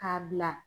K'a bila